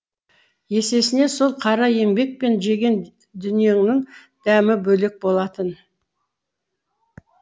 есесіне сол қара еңбек пен жеген дүниеңнің дәмі бөлек болатын